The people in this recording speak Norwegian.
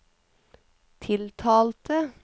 tiltalte